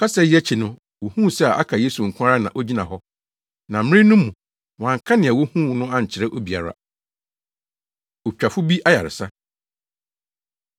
Kasa yi akyi no, wohuu sɛ aka Yesu nko ara na ogyina hɔ. Na mmere no mu, wɔanka nea wohuu no ankyerɛ obiara. Otwafo Bi Ayaresa